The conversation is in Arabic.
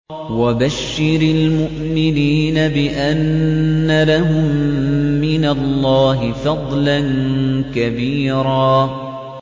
وَبَشِّرِ الْمُؤْمِنِينَ بِأَنَّ لَهُم مِّنَ اللَّهِ فَضْلًا كَبِيرًا